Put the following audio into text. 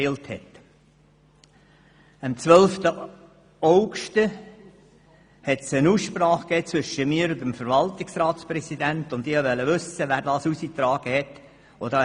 Am 12. August gab es eine Aussprache zwischen mir und dem Verwaltungsratspräsidenten, und ich wollte wissen, wer diese Information herausgegeben hatte.